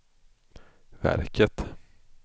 verket